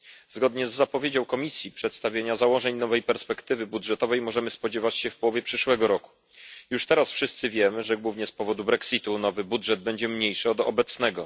Zgodnie z zapowiedzią Komisji przedstawienia założeń nowej perspektywy budżetowej możemy spodziewać się w połowie przyszłego roku. Już teraz wszyscy wiemy, że głównie z powodu Brexitu nowy budżet będzie mniejszy od obecnego.